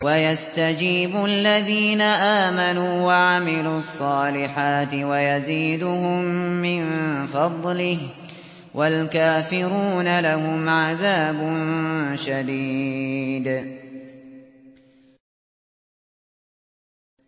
وَيَسْتَجِيبُ الَّذِينَ آمَنُوا وَعَمِلُوا الصَّالِحَاتِ وَيَزِيدُهُم مِّن فَضْلِهِ ۚ وَالْكَافِرُونَ لَهُمْ عَذَابٌ شَدِيدٌ